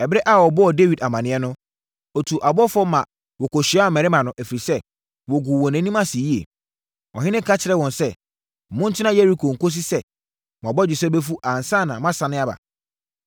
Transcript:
Ɛberɛ a wɔbɔɔ Dawid amaneɛ no, ɔtuu abɔfoɔ ma wɔkɔhyiaa mmarima no, ɛfiri sɛ, wɔguu wɔn anim ase yie. Ɔhene ka kyerɛɛ wɔn sɛ, “Montena Yeriko kɔsi sɛ mo abɔgyesɛ bɛfu ansa na moasane aba.”